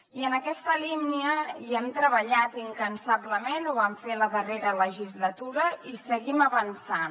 i en aquesta línia hi hem treballat incansablement ho vam fer la darrera legislatura i hi seguim avançant